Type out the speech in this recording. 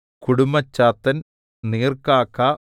കുടുമ്മച്ചാത്തൻ നീർക്കാക്ക